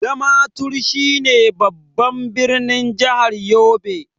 Damaturu shine babban ɓirnin jahar yobe.